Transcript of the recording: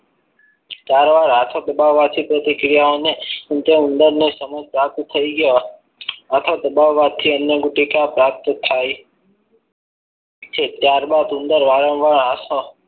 ચાર વાર હાથો દબાવવાથી પ્રતિક્રિયાઓને ઉંદર ઉંદરને સમૂહ પ્રાપ્ત થઈ ગયો આ તો દબાવવાથી અન્ન ગુટિકા પ્રાપ્ત થા છે ત્યારબાદ ઉંદર વારંવાર હાથો